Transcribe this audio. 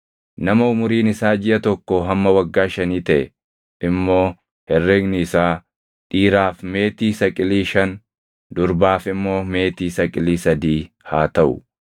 Nama umuriin isaa jiʼa tokkoo hamma waggaa shanii taʼe immoo herregni isaa, dhiiraaf meetii saqilii shan, durbaaf immoo meetii saqilii sadii haa taʼu.